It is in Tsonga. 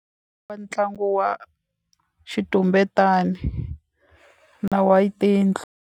Wa ntlangu wa xitumbetani na wa tiyindlu.